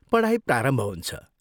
पढाई प्रारम्भ हुन्छ।